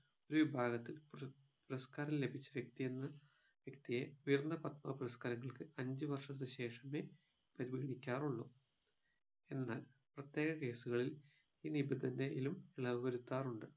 ഒരു വിഭാഗത്തിൽ പുര പുരസ്കാരം ലഭിച്ച വ്യക്തി എന്ന വ്യക്തിയെ ഉയർന്ന പത്മ പുരസ്കാരങ്ങൾക്ക് അഞ്ചുവർഷത്തിനു ശേഷമേ പരിഗണിക്കാറുള്ളൂ എന്നാൽ പ്രത്യേക case കളിൽ ഈ നിബന്ധനയിലും ഇളവു വരുത്താറുണ്ട്